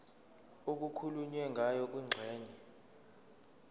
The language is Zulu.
okukhulunywe ngayo kwingxenye